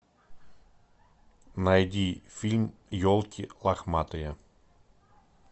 найди фильм елки лохматые